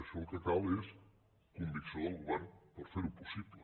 això el que cal és convicció del govern per ferho possible